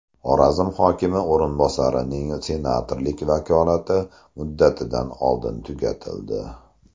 Xorazm hokimi o‘rinbosarining senatorlik vakolati muddatidan oldin tugatildi.